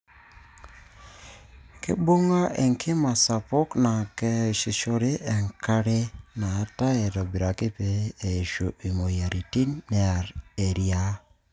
keibung' enkima sapuk naa keyasishore enkare naatae aitobiraki pee eishu imoyiaritin neer eriaa.